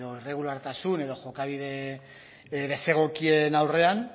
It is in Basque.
irregulartasun edo jokabide desegokien aurrean